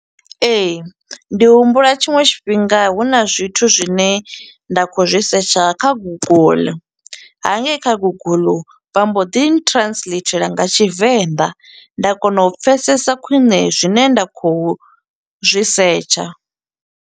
Ee, ndi humbula tshiṅwe tshifhinga huna zwithu zwine nda khou zwi setsha kha guguḽu. Hangei kha guguḽu vha mbo ḓi translathela nga tshivenḓa. Nda kona u pfesesa khwiṋe zwine nda khou zwi setsha.